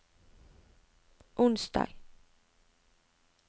onsdag